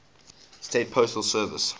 states postal service